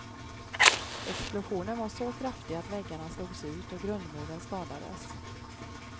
Explosionen var så kraftig att väggarna slogs ut och grundmuren skadades.